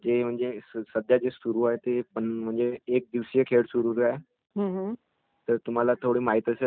जर तुम्हाला थोड माहित असेल तर नाही का न्यूझिलंडची टिम आहे त्याच्याविरुध्द आपली भारताची टीम होती